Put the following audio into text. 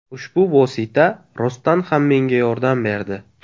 Ushbu vosita rostdan ham menga yordam berdi.